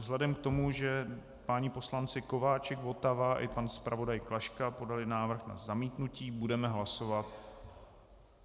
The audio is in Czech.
Vzhledem k tomu, že páni poslanci Kováčik, Votava i pan zpravodaj Klaška podali návrh na zamítnutí, budeme hlasovat.